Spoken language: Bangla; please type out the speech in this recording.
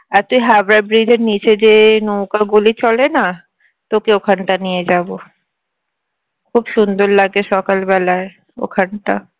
আর তুই হাওড়া bridge এর নিচে যে নৌকাগুলি চলে না তোকে ওখানটায় নিয়ে যাবো খুব সুন্দর লাগে সকালবেলায় ওখানটা